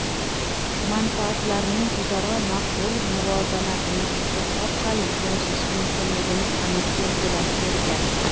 manfaatlarning o‘zaro maqbul muvozanatini topish orqali erishish mumkinligini aniq belgilab bergan.